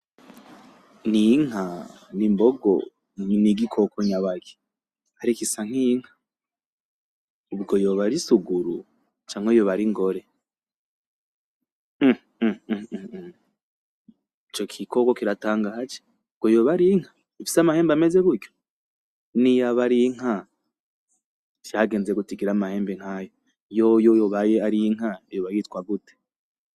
Ni inka n'imbogo n'igikoko nyabaki ariko isa nkinka ubwo yoba ari isuguru canke yoba ari ingore ico gikoko kiratangaje ubwo yoba arinka ifise amahembe ameze gutyo niyaba arinka vyagenze gute igire amahembe nkayo yoyo yobaye arinka yoba yitwa gute.